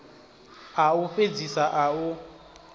a u fhedzisa a u